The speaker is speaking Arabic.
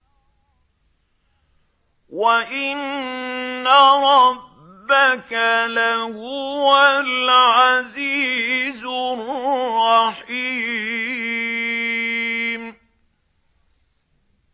وَإِنَّ رَبَّكَ لَهُوَ الْعَزِيزُ الرَّحِيمُ